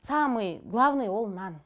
самый главный ол нан